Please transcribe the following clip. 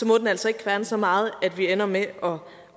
må den altså ikke kværne så meget at vi ender med at